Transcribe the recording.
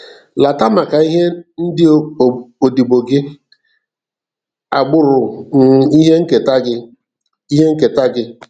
Lata maka ihi ndị odibo gị, agbụrụ um ihe nketa gị. ihe nketa gị.